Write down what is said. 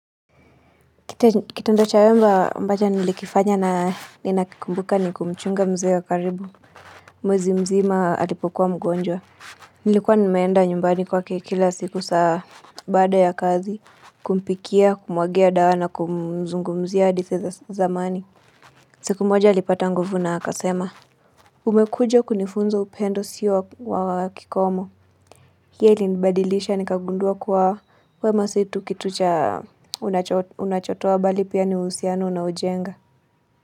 Kite ndo chawema ambacho nilikifanya na ninakikumbuka ni kumchunga mzee wa karibu. Mwezi mzima alipokuwa mgonjwa. Nilikuwa nimeenda nyumbani kwa kekila siku saa bada ya kazi. Kumpikia, kumwagia dawa na kumzungumzia di seza zamani. Siku moja alipata nguvu na akasema. Umekuja kunifunza upendo usio wa kikomo. Hili nibadilisha ni kagundua kuwa wemasitu kitu cha unachotoa bali pia ni uhusiano na unoujenga.